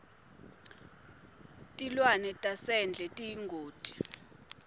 tilwane tasendle tiyingoti